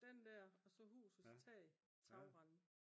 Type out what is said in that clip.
den der og så husets tag tagrende